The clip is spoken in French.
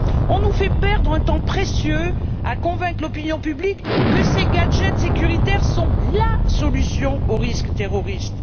On nous fait perdre un temps précieux à convaincre l'opinion publique que ces gadgets sécuritaires sont la solution au risque terroriste.